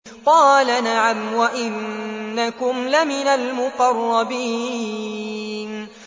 قَالَ نَعَمْ وَإِنَّكُمْ لَمِنَ الْمُقَرَّبِينَ